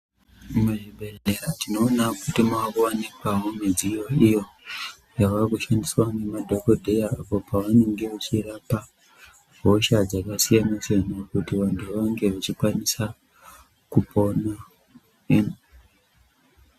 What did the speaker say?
Muzvibhedhlera tinoona kuti makuvanikavo midziyo iyo yavakushandiswa ngemadhogodheya, apo pavanenge vachirapa hosha dzakasiyana-siyana. Kuti vantu vange vachikwanisa kupona.